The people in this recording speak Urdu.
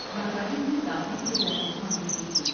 مساجد میں داخلے کی اجازت مانگی گئی تھی ۔